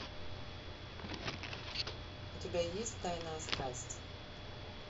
у тебя есть тайная страсть